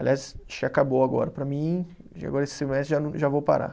Aliás, acho que acabou agora para mim, agora esse semestre já não, já vou parar.